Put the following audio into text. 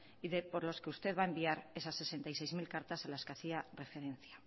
y de por los que usted va a enviar esas sesenta y seis mil cartas a las que hacía referencia